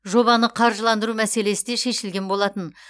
жобаны қаржыландыру мәселесі де шешілген болатын